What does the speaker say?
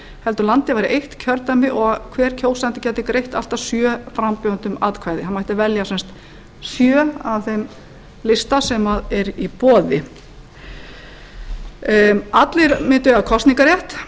heldur væri landið eitt kjördæmi og hver kjósandi gæti greitt allt að sjö frambjóðendum atkvæði hann mætti velja sjö af þeim lista sem er í boði allir mundu eiga kosningarrétt